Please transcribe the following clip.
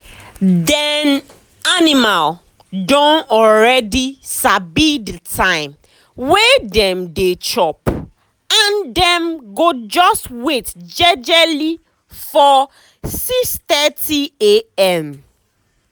dem animal don already sabi the time wey dem dey chop and dem go just wait jejely for 6:30am